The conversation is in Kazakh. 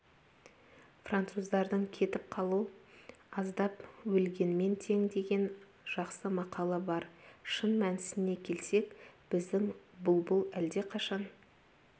француздардың кетіп қалу аздап өлгенмен тең деген жақсы мақалы бар шын мәнісіне келсек біздің бұлбұл әлдеқашан